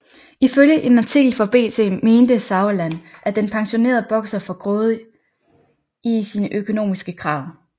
Ifølge en artikel for BT mente Sauerland at den pensionerede bokser for grådig i sine økonomiske krav